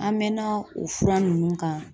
An mɛɛnna o fura ninnu kan